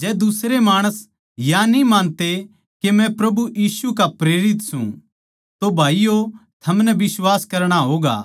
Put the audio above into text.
जै दुसरे माणस या न्ही मानते के मै प्रभु यीशु का प्रेरित सूं तो थमनै भाईयो बिश्वास करणा होगा